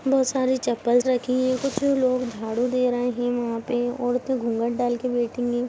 बहुत सारी चप्पलस रखी है कुछ लोग झाड़ू दे रहे है वहा पे औरते घूंघट डाल के बैठी हैं।